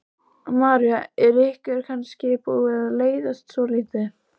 María: Er ykkur kannski búið að leiðast svolítið?